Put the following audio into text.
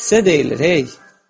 Sizə deyilir hey.